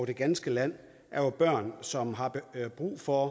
det ganske land som har brug for